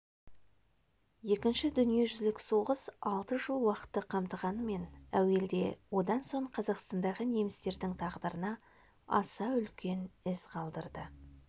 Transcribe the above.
екінші дүниежүзілік соғыс алты жыл уақытты қамтығанымен әуелде одан соң қазақстандағы немістердің тағдырына аса үлкен із қалдырды